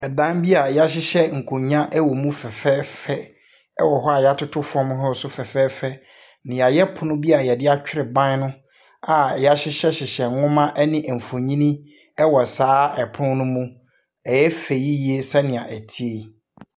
Ɛdan bi a wɔhyehyɛ nkonnwa wɔ mu fɛfɛɛfɛ wɔ hɔ a wɔatoto fam hɔ nso fɛfɛɛfɛ. Na wɔayɛ pono bi a wɔde atwere ban no a wɔahyehyɛhyehyɛ nwoma ne mfonin wɔ saa pono no mu. Ɛyɛ fɛ yie sɛdeɛ ɛteɛ yi.